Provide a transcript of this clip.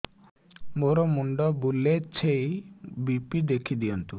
ମୋର ମୁଣ୍ଡ ବୁଲେଛି ବି.ପି ଦେଖି ଦିଅନ୍ତୁ